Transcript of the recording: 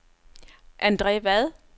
Andre Vad